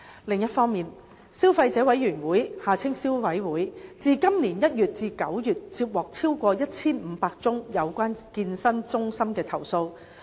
另一方面，消費者委員會自今年1月至9月接獲超過1500宗有關健身中心的投訴。